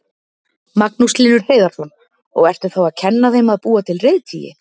Magnús Hlynur Hreiðarsson: Og ertu þá að kenna þeim að búa til reiðtygi?